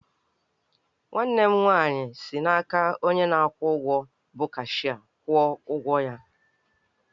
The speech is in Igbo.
Nwanne m nwaanyị si n'aka onye na-akwụ ụgwọ bụ cashịa kwụọ ụgwọ ya